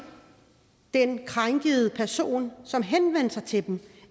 den krænkede person som henvender sig til dem